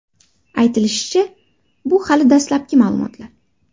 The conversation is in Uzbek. Aytilishicha, bu hali dastlabki ma’lumotlar.